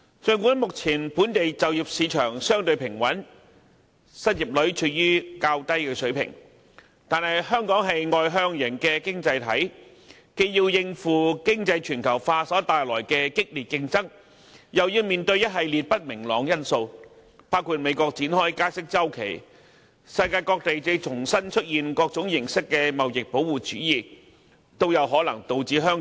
儘管目前本地就業市場相對平穩，失業率處於較低水平，但香港是外向型經濟體，既要應付經濟全球化所帶來的激烈競爭，又要面對一系列不明朗因素，包括美國展開加息周期，以及世界各地重現各種形式的貿易保護主義等。